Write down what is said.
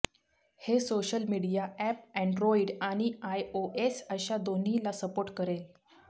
हे social media app Android आणि iOS अशा दोन्हीला सपोर्ट करेल